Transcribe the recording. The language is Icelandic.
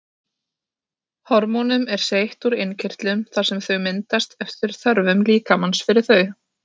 Hormónum er seytt úr innkirtlunum þar sem þau myndast eftir þörfum líkamans fyrir þau.